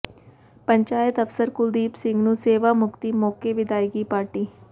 ਪੰਚਾਇਤ ਅਫ਼ਸਰ ਕੁਲਦੀਪ ਸਿੰਘ ਨੂੰ ਸੇਵਾ ਮੁਕਤੀ ਮੌਕੇ ਵਿਦਾਇਗੀ ਪਾਰਟੀ